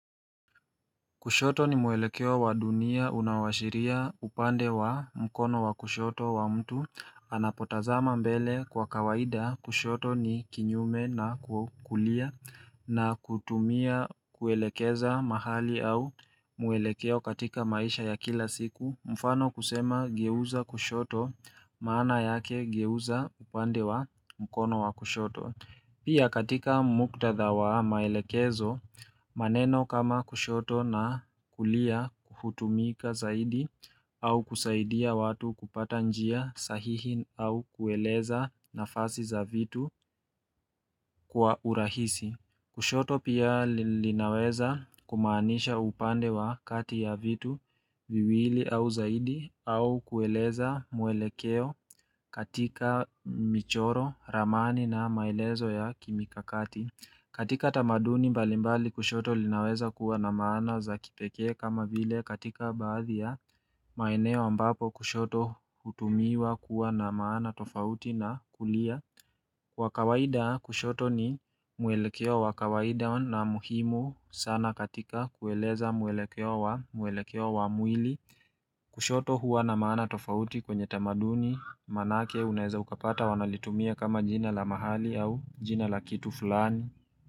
Kushoto ni muelekeo wa dunia unaoashiria upande wa mkono wa kushoto wa mtu Anapotazama mbele kwa kawaida kushoto ni kinyume na kukulia na kutumia kuelekeza mahali au mwelekeo katika maisha ya kila siku mfano kusema geuza kushoto maana yake geuza upande wa mkono wa kushoto Pia katika muktadha wa maelekezo maneno kama kushoto na kulia hutumika zaidi au kusaidia watu kupata njia sahihi au kueleza nafasi za vitu kwa urahisi. Kushoto pia linaweza kumaanisha upande wa kati ya vitu viwili au zaidi au kueleza mwelekeo katika michoro, ramani na maelezo ya kimikakati. Katika tamaduni balimbali kushoto linaweza kuwa na maana za kipeke kama vile katika baadhi ya maeneo ambapo kushoto hutumiwa kuwa na maana tofauti na kulia. Kwa kawaida kushoto ni mwelekeo wa kawaida na muhimu sana katika kueleza mwelekeo wa mwelekeo wa mwili. Kushoto huwa na maana tofauti kwenye tamaduni manake unaeza ukapata wanalitumia kama jina la mahali au jina la kitu fulani.